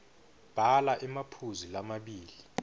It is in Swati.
bhala emaphuzu lamabili